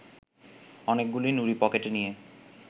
অনেকগুলি নুড়ি পকেটে নিয়ে